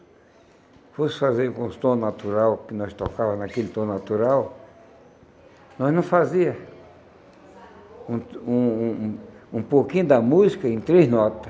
fosse fazer com os tom natural, que nós tocava naquele tom natural, nós não fazia um um um um pouquinho da música em três nota.